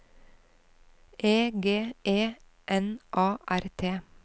E G E N A R T